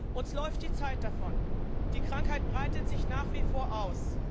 Uns läuft die Zeit davon. Die Krankheit breitet sich nach wie vor aus.